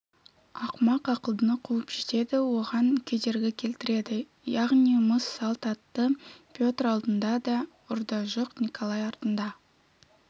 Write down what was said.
ақымақ ақылдыны қуып жетеді оған кедергі келтіреді яғни мыс салт атты петр алдында да ұрда-жық николай артында